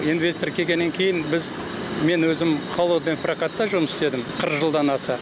инвестор келгеннен кейін біз мен өзім холодный прокатта жұмыс істедім қырық жылдан аса